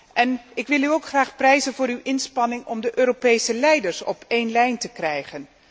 En ik wil u ook graag prijzen voor uw inspanning om de Europese leiders op een lijn te krijgen.